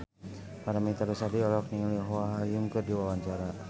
Paramitha Rusady olohok ningali Oh Ha Young keur diwawancara